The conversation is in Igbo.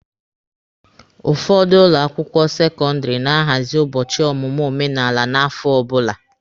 Ụfọdụ ụlọ akwụkwọ sekọndịrị na-ahazị ụbọchị ọmụmụ omenala n'afọ ọbụla.